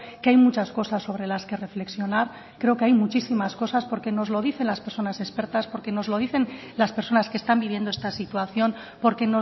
que hay muchas cosas sobre las que reflexionar creo que hay muchísimas cosas porque nos lo dicen las personas expertas porque nos lo dicen las personas que están viviendo esta situación porque